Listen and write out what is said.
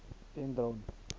dendron